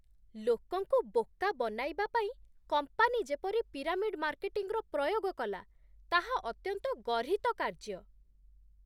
ଲୋକଙ୍କୁ ବୋକା ବନାଇବା ପାଇଁ କମ୍ପାନୀ ଯେପରି ପିରାମିଡ୍ ମାର୍କେଟିଂର ପ୍ରୟୋଗ କଲା, ତାହା ଅତ୍ୟନ୍ତ ଗର୍ହିତ କାର୍ଯ୍ୟ।